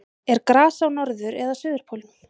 er gras á norður eða suðurpólnum